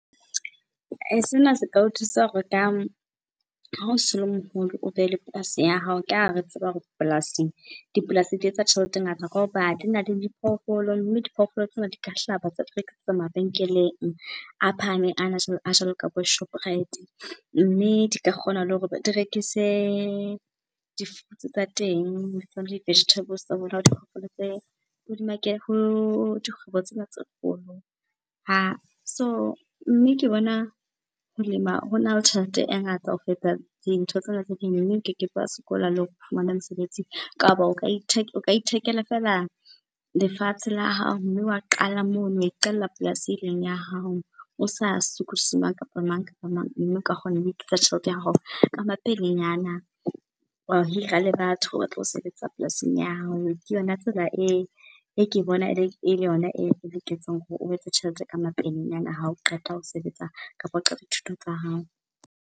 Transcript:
Se ka o thusa hore ka, ha o se o le moholo o be le polasi ya hao, ka ha re tseba hore polasing, dipolasi di etsa tjhelete e ngata, ka hoba di nale diphofolo. Mme diphoofolo tsena di ka hlaba tsa tlo rekisetswa mabenkeleng a phahameng ana, a jwalo ka bo Shoprite, mme di ka kgona le hore di rekise di-fruits tsa teng vegetables ho dikgwebo tsena tse kgolo. So, mme ke bona ho lema hona le tjhelete e ngata ho feta dintho tsena tse ding, mme o keke be wa sokola le ho fumane mosebetsing, kapa o ka ithekela fela lefatshe la hao, mme wa qala mono wa iqalla polasi eleng ya hao, o sa sokodise mang kapa mang kapa mang. Mme oka kgona ho tjhelete ya hao ka mapelenyana, wa hira le batho ba tlo sebetsa polasing ya hao. Ke yona tsela e ke bona e le yona e loketseng hore o etse tjhelete ka mapelenyana hao qeta ho sebetsa kapa o qeta dithuto tsa hao.